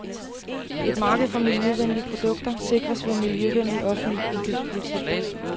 Et marked for miljøvenlige produkter sikres ved en miljøvenlig offentlig indkøbspolitik.